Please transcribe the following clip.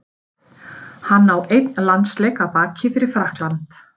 Hann á einn landsleik að baki fyrir Frakkland.